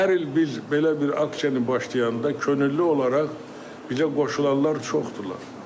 Və hər il biz belə bir aksiyanı başlayanda könüllü olaraq bizə qoşulanlar çoxdular.